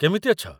କେମିତି ଅଛ?